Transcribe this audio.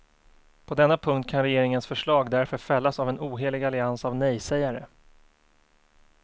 På denna punkt kan regeringens förslag därför fällas av en ohelig allians av nejsägare.